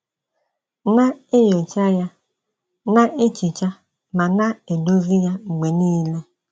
Na - enyocha ya; na - ehicha ma na - edozi ya mgbe nile.